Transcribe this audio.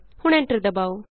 ਹੁਣ ਐਂਟਰ ਦਬਾਉ